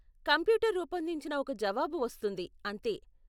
Computer రూపొందించిన ఒక జవాబు వస్తుంది, అంతే.